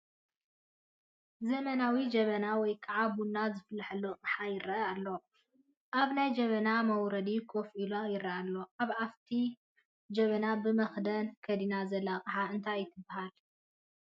ዘመናዊ ጀበና ወይ ከዓ ቡና ዝፈልሓሉ ኣቕሓ ይረአ ኣሎ፡፡ ኣብ ናይ ጀበና መውረዲ ከፍ ኢሉ ይረአ ኣሎ፡፡ ኣብ ኣፍ እቲ ጀበና ብመኽደን ከዲና ዘላ ኣቕሓ እንታይ ትባሃል?